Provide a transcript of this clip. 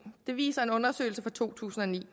det viser en undersøgelse fra to tusind og ni